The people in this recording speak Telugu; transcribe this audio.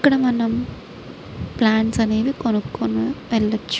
ఇక్కడ మనము ప్లాంట్స్ అనేవీ కొనుకొని వేల్లోచు.